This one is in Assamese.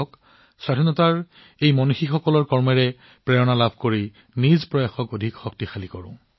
আহক আমি স্বাধীনতা সংগ্ৰামৰ মহান ব্যক্তিত্বৰ দ্বাৰা অনুপ্ৰাণিত হও দেশৰ বাবে আমাৰ প্ৰচেষ্টা শক্তিশালী কৰো